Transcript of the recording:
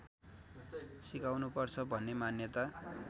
सिकाउनुपर्छ भन्ने मान्यता